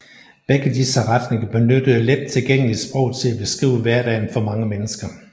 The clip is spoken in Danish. Begge disse retninger benyttede let tilgængeligt sprog til at beskrive hverdagen for mange mennesker